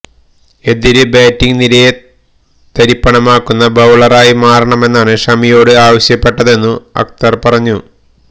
എതിര് ബാറ്റിങ് നിരയെ തരിപ്പണമാക്കുന്ന ബൌളറായി മാറണമെന്നാണ് ഷമിയോട് ആവശ്യപ്പെട്ടതെന്നു അക്തര് പറഞ്ഞു